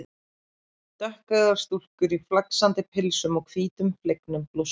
Dökkeygðar stúlkur í flaksandi pilsum og hvítum flegnum blússum.